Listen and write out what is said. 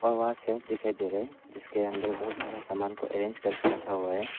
अवा सेफ दिखाई दे रहा है जिसके अंदर बहुत सारा सामान को अरेंज करके रखा हुआ है।